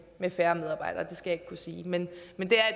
færre medarbejdere det skal jeg ikke kunne sige men men det